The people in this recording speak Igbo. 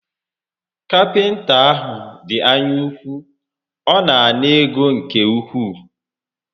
Kapịnta a dị anya úkwú, ọ na ana ego nke ukwuu